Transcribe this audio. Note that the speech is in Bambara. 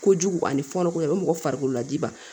Kojugu ani fɔnɔkoko o bɛ mɔgɔ farikolo lajigiba